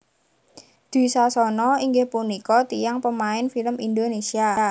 Dwi Sasono inggih punika tiyang pemain film Indonesia